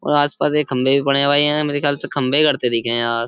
और आसपास ये खम्भे भी पड़े हैं भाई। ए यार मेरे ख्याल से खम्भे गड़ते दिखे हैं यार।